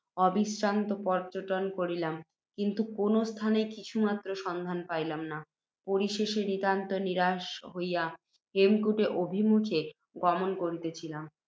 অবিশ্রান্ত পর্য্যটন করিলাম, কিন্তু, কোনও স্থানেই কিছুমাত্র সন্ধান পাইলাম না। পরিশেষে, নিতান্ত নিরাশ্বাস হইয়া, হেমকূট অভিমুখে গমন করিতেছিলাম